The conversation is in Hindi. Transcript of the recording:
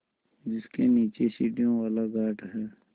जिसके नीचे सीढ़ियों वाला घाट है